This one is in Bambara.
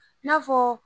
I n'a fɔ